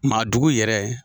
Maadugu yɛrɛ.